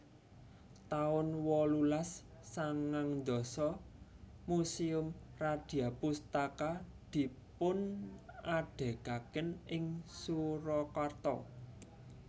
taun wolulas sangang dasa Museum Radyapustaka dipunadegaken ing Surakarta